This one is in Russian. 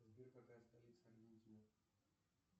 сбер какая столица аргентины